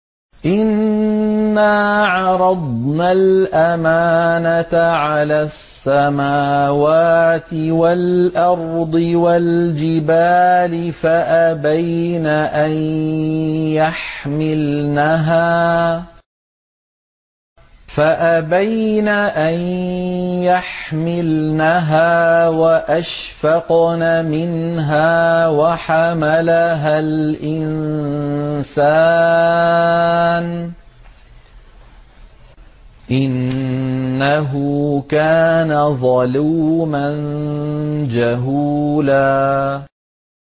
إِنَّا عَرَضْنَا الْأَمَانَةَ عَلَى السَّمَاوَاتِ وَالْأَرْضِ وَالْجِبَالِ فَأَبَيْنَ أَن يَحْمِلْنَهَا وَأَشْفَقْنَ مِنْهَا وَحَمَلَهَا الْإِنسَانُ ۖ إِنَّهُ كَانَ ظَلُومًا جَهُولًا